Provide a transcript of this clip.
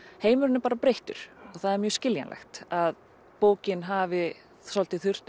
heimurinn er bara breyttur og það er mjög skiljanlegt að bókin hafi svolítið þurft